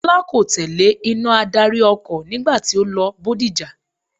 Tọ́lá kò tẹ̀lé iná adarí ọkọ̀ nígbà tí ó lọ Bódìjà.